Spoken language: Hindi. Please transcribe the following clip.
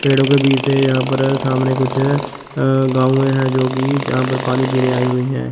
पेड़ों के बीच से यहां पर सामने कुछ अं गाउएं है जोकि जहां पर पानी पीने आई हुई है।